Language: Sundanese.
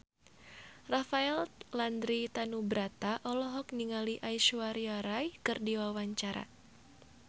Rafael Landry Tanubrata olohok ningali Aishwarya Rai keur diwawancara